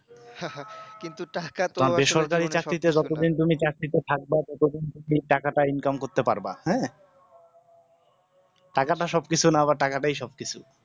বেসরকারি চাকরিতে তুমি যতদিন থাকবা তুমি ততদিন কিন্তু টাকাটাও income করতে পারবা হ্যাঁ টাকাটা সবকিছু না আবার টাকাটা সবকিছু